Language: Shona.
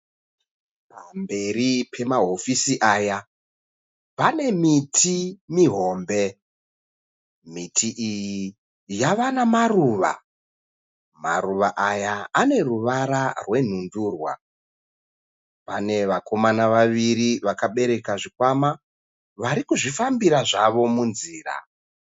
Pamberi pemahofisi aya pane miti mihombe. Miti iyi yava nemaruva, maruva aya ane ruvara rwenhundurwa. Pane vakomana vavaviri vakabereka zvikwama varikuzvifambira munzira.